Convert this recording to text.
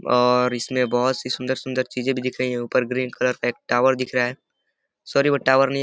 और इसमें बोहोत सी सुंदर-सुंदर चीजें भी दिख रही हैं। ऊपर ग्रीन कलर का एक टॉवर दिख रहा है। सॉरी वो टॉवर नहीं --